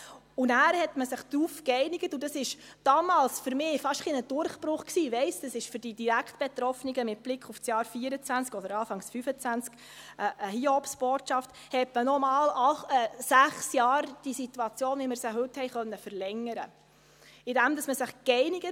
Man einigte sich dann darauf – und das war damals für mich fast ein bisschen ein Durchbruch, aber ich weiss, dass es für die direkt Betroffenen mit Blick auf das Jahr 2024 oder auf Anfang 2025 eine Hiobsbotschaft ist –, die Situation, wie wir sie heute haben, noch einmal um sechs Jahre zu verlängern.